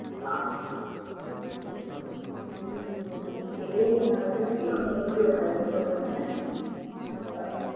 ஆஹ் இன்னும் two years ஆகுமா, அப்போ என்ன age ஆகுது அப்போ என்ன age ல கல்யாணம் பண்ணுவோன்னு?